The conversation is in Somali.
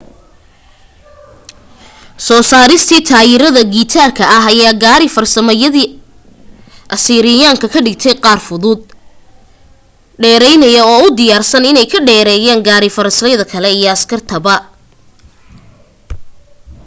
soo saaristii taayirada giraanta ah ayaa gaari-farasyadii asiiriyaanka ka dhigtay qaar fudud dheeraynaya oo u diyaarsan inay ka dheereeyaan gaari farasyada kale iyo askarta